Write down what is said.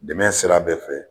Dɛmɛ sira bɛɛ fɛ